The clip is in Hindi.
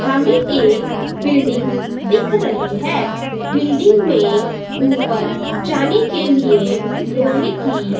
हमें एक बिल्डिंग दिख रही है। बिल्डिंग में ऊपर जाने के लिए लोहे की--हुई